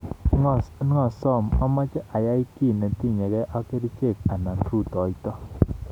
Ngasob ameche ayai ki netinyegei ak kerichek anan rutoito